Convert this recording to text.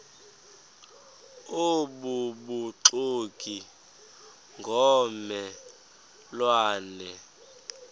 obubuxoki ngomme lwane